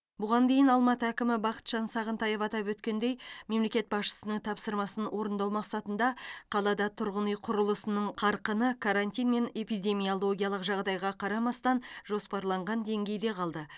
бұған дейін алматы әкімі бақытжан сағынтаев атап өткендей мемлекет басшысының тапсырмасын орындау мақсатында қалада тұрғын үй құрылысының қарқыны карантин мен эпидемиологиялық жағдайға қарамастан жоспарланған деңгейде қалды